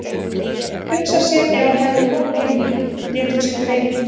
Hugsa sér ef hann hefði komið til mín, lét hún sig dreyma.